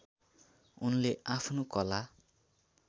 उनले आफ्नो कला